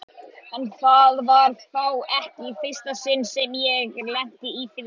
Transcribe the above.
En það var þá ekki í fyrsta sinn sem ég lenti í því.